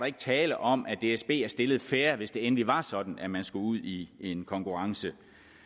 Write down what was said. ikke tale om at dsb er stillet fair hvis det endelig var sådan at man skulle ud i en konkurrence